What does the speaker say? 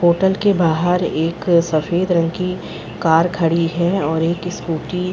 hotel के बाहर एक सफ़ेद रंग की कार खड़ी है और एक स्कूटी --